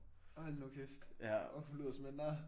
Hold nu kæft. Hun lyder som en nar